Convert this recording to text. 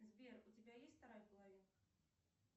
сбер у тебя есть вторая половинка